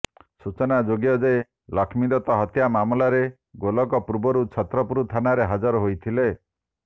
ସୂଚନାଯୋଗ୍ୟଯେ ଲକ୍ଷ୍ମୀଦତ୍ତ ହତ୍ୟା ମାମଲାରେ ଗୋଲକ ପୂର୍ବରୁ ଛତ୍ରପୁର ଥାନାରେ ହାଜର ହୋଇଥିଲେ